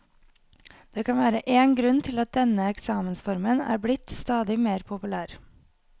Det kan være én grunn til at denne eksamensformen er blitt stadig mer populær.